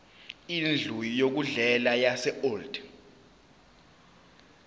indlu yokudlela yaseold